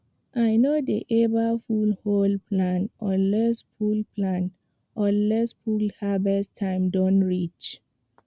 i no dey ever pull whole plant unless full plant unless full harvest time don reach